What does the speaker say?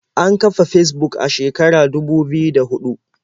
An kafa Fesbuk a shekarar dubu biyu da huɗu.